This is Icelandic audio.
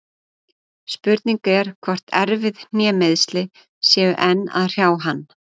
Spurning er hvort erfið hnémeiðsli séu enn að hrjá hann?